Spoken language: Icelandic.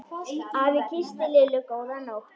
Afi kyssti Lillu góða nótt.